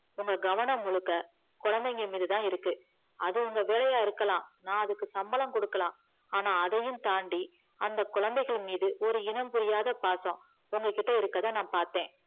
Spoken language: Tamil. உங்க கவனம் முழுக்கு குழந்தைங்க மீதுதா இருக்கு அது உங்க வேலையா இருக்கலாம் அதுக்கு நா சம்பளம் குடுக்கலா ஆனா அதையும் தாண்டி அந்த குழந்தைங்க மீது ஒரு இனம் புரியாத பாசம் உங்க கிட்ட இருக்கறதா நா பாத்தா